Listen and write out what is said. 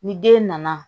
Ni den nana